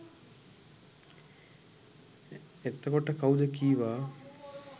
එතකොට කවුද කීවා